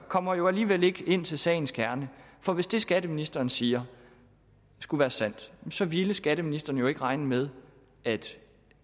kommer jo alligevel ikke ind til sagens kerne for hvis det skatteministeren siger skulle være sandt så ville skatteministeren jo ikke regne med at